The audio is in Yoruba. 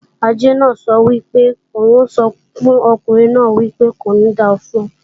Àjẹ́ náà sọ wípé òun o sọ fún ọkùnrin náà wípé "Kò ní da fún ọ"